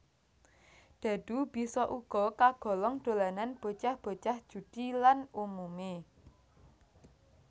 Dhadhu bisa uga kagolong dolanan bocah bocah judi lan umumé